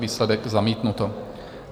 Výsledek: zamítnuto.